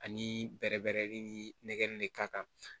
Ani bɛrɛ bɛɛrɛli ni nɛgɛn ne ka kan